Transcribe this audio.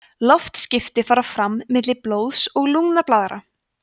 loftskipti fara fram milli blóðs og lungnablaðra